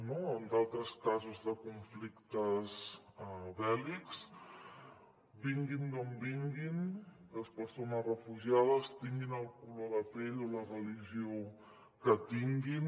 no en altres casos de conflictes bèl·lics vinguin d’on vinguin les persones refugiades tinguin el color de pell o la religió que tinguin